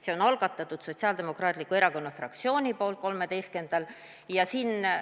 See on algatatud Sotsiaaldemokraatliku Erakonna fraktsiooni poolt 13. jaanuaril.